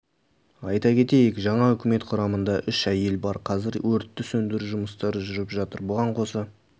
айта кетейік жаңа үкімет құрамында үш әйел бар қазір өртті сөндіру жұмыстары жүріп жатыр бұған қоса